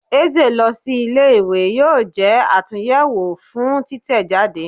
Eze lọ si ìlé-ìwé yọọ jé àtúnyẹwo fún títẹjádé.